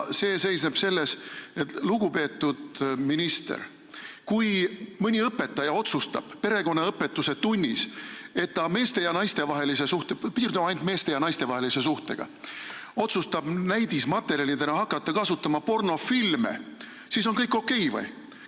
See seisneb selles: lugupeetud minister, kui mõni õpetaja otsustab perekonnaõpetuse tunnis hakata meeste- ja naistevahelise suhte selgitamiseks – piirdume ainult meeste- ja naistevahelise suhtega – näidismaterjalina kasutama pornofilme, kas siis on kõik okei?